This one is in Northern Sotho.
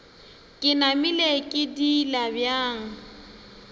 ke namile ke diila bjang